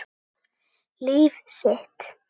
Líf sitt.